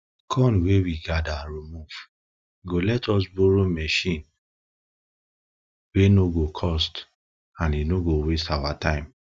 corn wey we wey we gather remove go let us borrow machine wey no go cost and e no go waste our time